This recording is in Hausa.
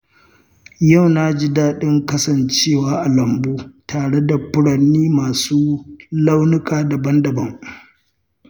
Yau na ji daɗin kasancewa a lambu tare da furanni masu launuka daban-daban.